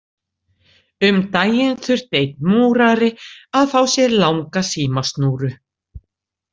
Um daginn þurfti einn Múrari að fá sér langa símasnúru.